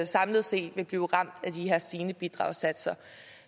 samlet set vil blive ramt af de her stigende bidragssatser